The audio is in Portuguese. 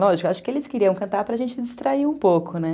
Lógico, acho que eles queriam cantar para gente distrair um pouco, né?